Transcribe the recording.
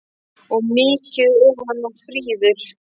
Og mikið er hann nú fríður!